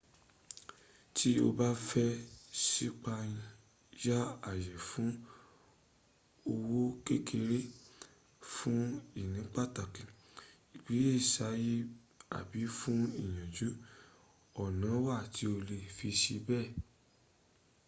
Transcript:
to o ba fe sipaya aye fun owo kekere fun ini pataki igbesiaye abi fun iyaju ona wa ti o le fi se be